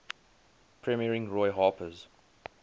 premiering roy harper's